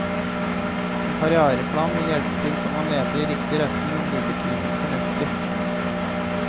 En karrièreplan vil hjelpe til så man leter i riktig retning og bruker tiden fornuftig.